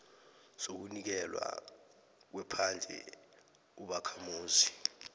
sokunikelwa kwephandle ubakhamuzi